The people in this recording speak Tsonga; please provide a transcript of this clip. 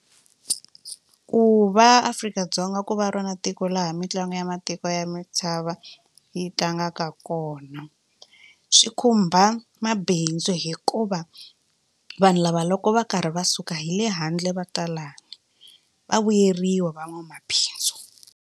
Ku va Afrika-Dzonga ku va rona tiko laha mitlangu ya matiko ya misava yi tlangaka kona swi khumba mabindzu hikuva vanhu lava loko va karhi va suka hi le handle va tala va vuyeriwa van'wamabindzu.